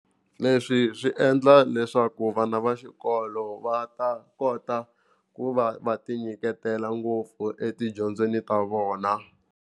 Leswi swi endla leswaku vana va xikolo va ta kota ku va va ti nyiketela ngopfu etidyondzweni ta vona.